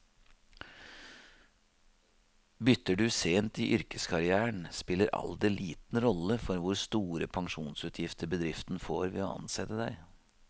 Bytter du sent i yrkeskarrieren, spiller alder liten rolle for hvor store pensjonsutgifter bedriften får ved å ansette deg.